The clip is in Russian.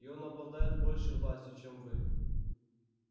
и он обладает большей властью чем вы